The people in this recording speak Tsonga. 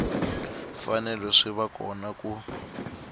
fanele swi va kona ku